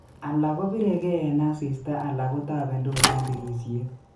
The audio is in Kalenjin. Alak koribegei eng asista alak kotabendos eng tirisyet